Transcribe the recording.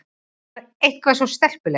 Hún var eitthvað svo stelpuleg.